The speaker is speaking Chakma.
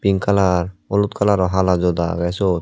pink kalar olotkalarot hala joda aggey suot.